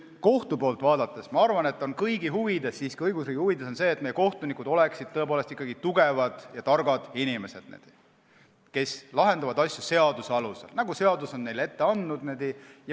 Kohtu poolt vaadates, ma arvan, on kõigi huvides, õigusriigi huvides see, et meie kohtunikud oleksid ikkagi tugevad ja targad inimesed, kes lahendavad asju seaduse alusel, nagu seadus on neile ette andnud.